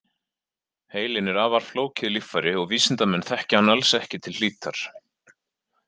Heilinn er afar flókið líffæri og vísindamenn þekkja hann alls ekki til hlítar.